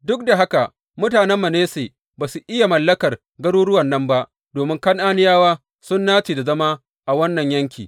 Duk da haka mutanen Manasse ba su iya mallakar garuruwan nan ba, domin Kan’aniyawa sun nace da zama a wannan yanki.